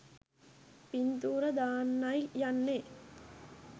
පින්තූර දාන්නයි යන්නේ.